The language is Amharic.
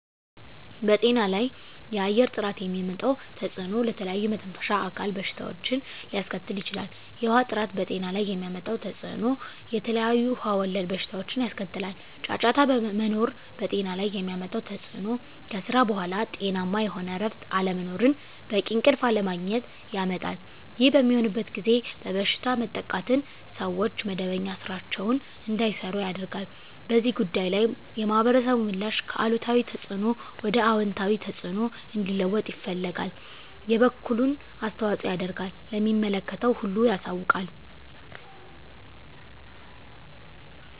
በጤና ላይ የአየር ጥራት የሚያመጣው ተፅዕኖ ለተለያዩ የመተንፈሻ አካል በሽታዎችን ሊያስከትል ይችላል። የውሀ ጥራት በጤና ላይ የሚያመጣው ተፅዕኖ የተለያዩ ውሀ ወለድ በሽታዎችን ያስከትላል። ጫጫታ መኖር በጤና ላይ የሚያመጣው ተፅዕኖ ከስራ በኃላ ጤናማ የሆነ እረፍት አለመኖርን በቂ እንቅልፍ አለማግኘት ያመጣል። ይህ በሚሆንበት ጊዜ በበሽታ መጠቃትን ሰዎች መደበኛ ስራቸዉን እንዳይሰሩ ያደርጋል። በዚህ ጉዳይ ላይ የማህበረሰቡ ምላሽ ከአሉታዊ ተፅዕኖ ወደ አወንታዊ ተፅዕኖ እንዲለወጥ ይፈልጋል የበኩሉን አስተዋፅኦ ያደርጋል ለሚመለከተው ሁሉ ያሳውቃል።